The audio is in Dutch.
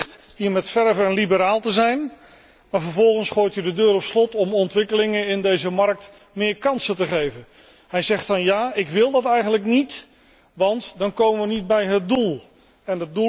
Hij zegt hier met verve een liberaal te zijn, maar vervolgens gooit hij de deur op slot om ontwikkelingen in deze markt meer kansen te geven. Hij zegt dan dat hij dat eigenlijk niet wil, omdat we dan niet bij het doel komen.